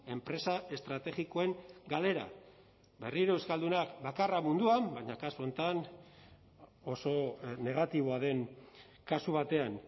enpresa estrategikoen galera berriro euskaldunak bakarra munduan baina kasu honetan oso negatiboa den kasu batean